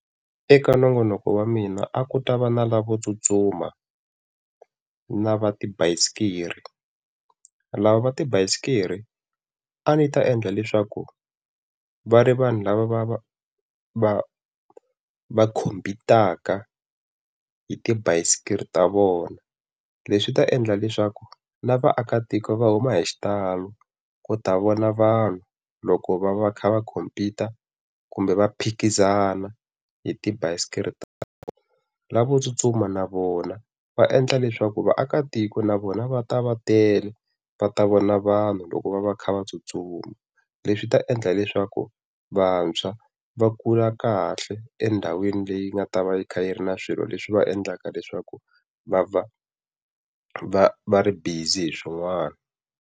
Eka nongonoko wa mina a ku ta va na lavo tsutsuma na va tibasikiri, lava va tibasikiri a ndzi ta endla leswaku va ri vanhu lava va va va va khompitaka hi tibasikiri ta vona. Leswi swi ta endla leswaku na vaakatiko va huma hi xitalo ku ta vona vanhu loko va va kha va khompita kumbe va phikizana hi tibasikiri ta. Lavo tsutsuma na vona va endla leswaku vaakatiko na vona va ta va tele va ta vona vanhu loko va va kha va tsutsuma. Leswi swi ta endla leswaku vantshwa va kula kahle endhawini leyi nga ta va yi kha yi ri na swilo leswi va endlaka leswaku va va va va ri busy hi swin'wana.